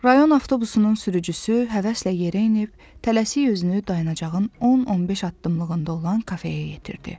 Rayon avtobusunun sürücüsü həvəslə yerə enib, tələsik özünü dayanacağın 10-15 addımlığında olan kafeyə yetirdi.